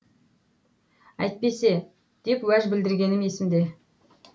әйтпесе деп уәж білдіргенім есімде